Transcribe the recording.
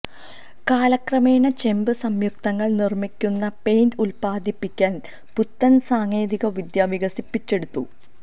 കാലക്രമേണ ചെമ്പ് സംയുക്തങ്ങൾ നിർമിക്കുന്ന പെയിന്റ് ഉൽപ്പാദിപ്പിക്കാൻ പുത്തൻ സാങ്കേതിക വിദ്യ വികസിപ്പിച്ചെടുത്തു